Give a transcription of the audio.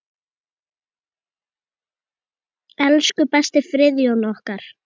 Elsku besti Friðjón okkar.